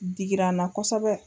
Digirana kosɛbɛ.